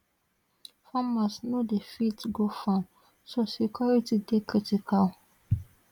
farmers no dey fit go farm so security dey critical